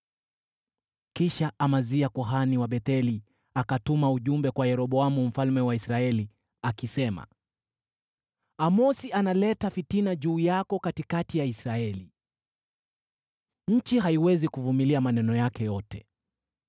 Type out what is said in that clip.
Kisha Amazia kuhani wa Betheli akatuma ujumbe kwa Yeroboamu mfalme wa Israeli, akisema: “Amosi analeta fitina juu yako katikati ya Israeli. Nchi haiwezi kuvumilia maneno yake yote.